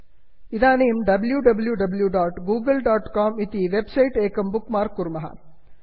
इदानीं wwwgooglecom W W W dot Google dot com इति website bookmark मार्क् कुर्मः